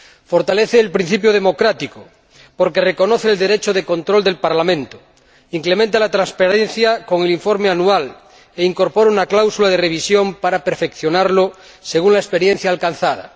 Fortalece el principio democrático porque reconoce el derecho de control del Parlamento, incrementa la transparencia con el informe anual e incorpora una cláusula de revisión para perfeccionarlo según la experiencia alcanzada.